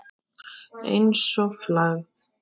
Einsog flagð.